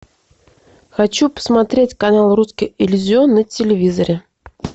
хочу посмотреть канал русский иллюзион на телевизоре